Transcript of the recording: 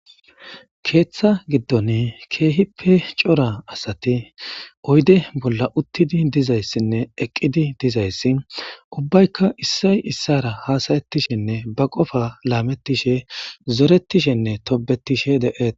keeththa giddon keehippe cora asati oyde bolla uttidi dizayssinne eqqidi dizayssi ubbaykka issay issara haasayettishenne ba qofa laamettishe zoretishenne tobetishe de7eet